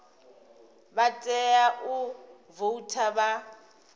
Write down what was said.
vha tea u voutha vha